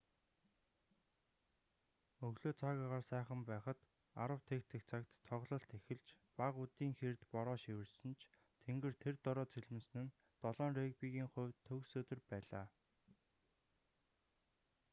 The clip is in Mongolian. өглөө цаг агаар сайхан байхад 10:00 цагт тоглолт эхэлж бага үдийн хэрд бороо шивэрсэн ч тэнгэр тэр дороо цэлмэсэн нь 7-н регбигийн хувьд төгс өдөр байлаа